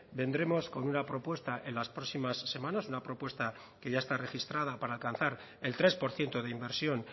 vendremos con una propuesta en las próximas semanas una propuesta que ya está registrada para alcanzar el tres por ciento de inversión